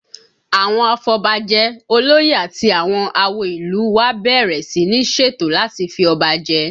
Àwọn afọbajẹ, olóyè àti àwọn àwo ìlú u wa bẹ̀rẹ̀ sí ní ṣètò láti fi ọba jẹ